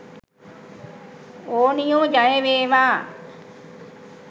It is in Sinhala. ඕනියෝ.ජයවේවා